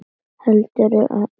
Heldur um hendur mínar.